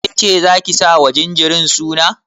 Kece zaki sa wa jinjirin suna?